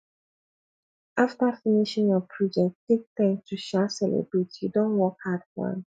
after finishing your project take time to um celebrate you don work hard for am